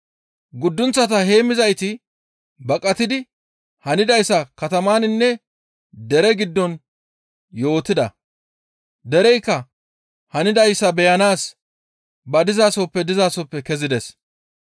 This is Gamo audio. Guddunththa heemmizayti baqatidi hanidayssa katamaninne dere giddon yootida. Dereykka hanidayssa beyanaas ba dizasoppe dizasoppe kezides.